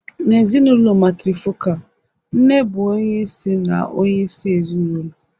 N'ezinụlọ matrifocal, nne bụ onye isi na onyeisi ezinụlọ.